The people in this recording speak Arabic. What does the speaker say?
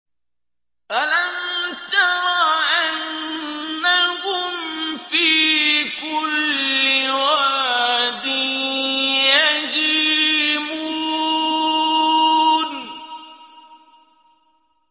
أَلَمْ تَرَ أَنَّهُمْ فِي كُلِّ وَادٍ يَهِيمُونَ